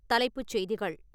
தலைப்புச் செய்திகள்